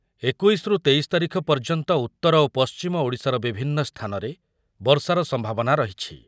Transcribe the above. ଏକୋଇଶ ରୁ ତେଇଶ ତାରିଖ ପର୍ଯ୍ୟନ୍ତ ଉତ୍ତର ଓ ପଶ୍ଚିମ ଓଡ଼ିଶାର ବିଭିନ୍ନ ସ୍ଥାନରେ ବର୍ଷାର ସମ୍ଭାବନା ରହିଛି ।